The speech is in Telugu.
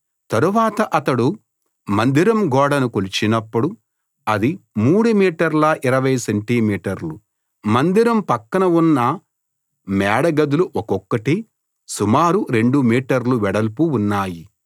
తరువాత అతడు మందిరం గోడను కొలిచినప్పుడు అది 3 మీటర్ల 20 సెంటి మీటర్లు మందిరం పక్కన ఉన్న మేడ గదులు ఒక్కొక్కటి సుమారు 2 మీటర్లు వెడల్పు ఉన్నాయి